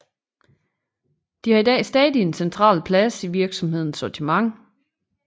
De har i dag stadig en central plads i virksomhedens sortiment